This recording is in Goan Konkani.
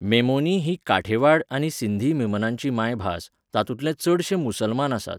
मेमोनी ही काठेवाड आनी सिंधी मेमनांची माय भास, तातूंतले चडशे मुसलमान आसात.